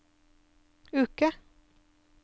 uke